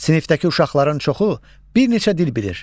Sinifdəki uşaqların çoxu bir neçə dil bilir.